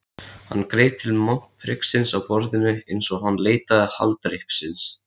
Hann greip til montpriksins á borðinu einsog hann leitaði haldreipis.